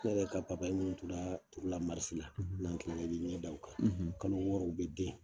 Ne yɛrɛ ka min turula marisi la n'an tilala i bɛ i ɲɛ da u kan, kalo wɔɔrɔ u bɛ den